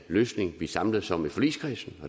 løsning vi samles om i forligskredsen